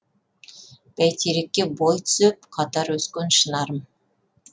бәйтерекке бой түзеп қатар өскен шынарым